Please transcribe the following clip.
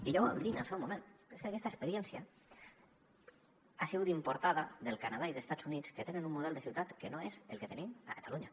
i ja ho vam dir en el seu moment és que aquesta experiència ha sigut importada del canadà i d’estats units que tenen un model de ciutat que no és el que tenim a catalunya